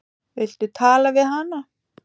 Viltu tala við hana?